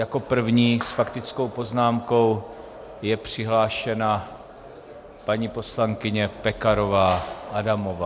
Jako první s faktickou poznámkou je přihlášena paní poslankyně Pekarová Adamová.